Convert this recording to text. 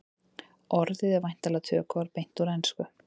orðið er væntanlega tökuorð beint úr ensku